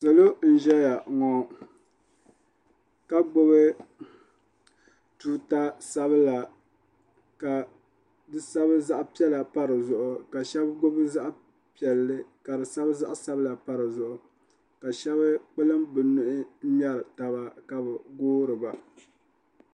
salo nyɛla ʒɛya ŋɔ ka gbubi tuuta sabila ka di sabi zaɣ piɛla pa dizuɣu ka shab gbubi zaɣ piɛlli ka di sabi zaɣ sabila pa dizuɣu ka shab kpulim bi nuhi ŋmɛri taba ka bi gooriba